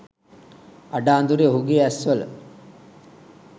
අඩ අඳුරෙ ඔහුගෙ ඇස් වල